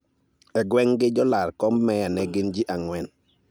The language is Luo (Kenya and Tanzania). E gweng'gi, jolar komb meya ne gin ji ang'wen